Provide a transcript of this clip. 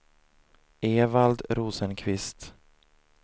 Evald Rosenqvist